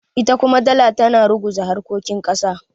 ita kuma dala tana ruguza harkokin kasa